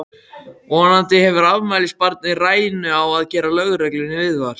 Vonandi hefur afmælisbarnið rænu á að gera lögreglunni viðvart!